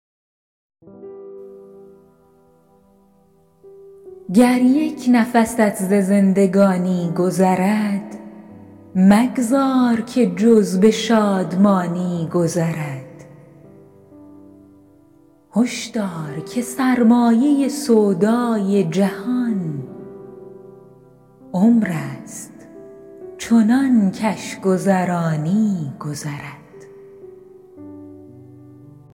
گر یک نفست ز زندگانی گذرد مگذار که جز به شادمانی گذرد هشدار که سرمایه سودای جهان عمر است چنان کش گذرانی گذرد